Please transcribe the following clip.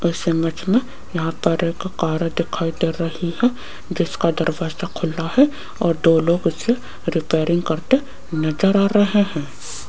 इस इमेज मे यहां पर एक कार दिखाई दे रही हैं जिसका दरवाजा खुला है और दो लोग उसे रिपेयरिंग करते नजर आ रहे है।